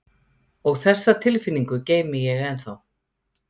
Og þessa tilfinningu geymi ég ennþá.